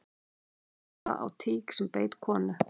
Aflífa á tík sem beit konu